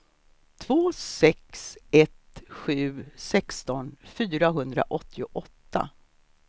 två sex ett sju sexton fyrahundraåttioåtta